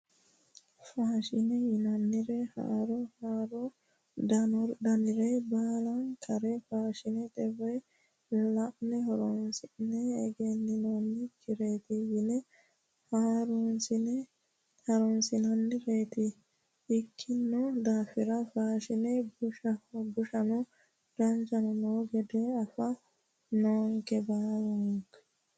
Faashine yinanniri haaro haarore daanore baallankare faashinete woyi la'ne horonsi'ne egeninonkireti yine harunsi'nannireti ikkino daafira faashine bushano danchano no gede afa noonke baalinke